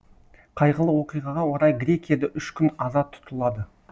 қайғылы оқиғаға орай грекияда үш күн аза тұтылады